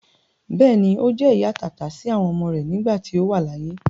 Bẹ́ẹ̀ni, Ó jẹ́ ìyá àtàtà sí àwọn ọmọ rẹ nígbà tí ó wà láyé.